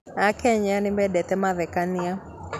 Akenya nĩmendete mathekania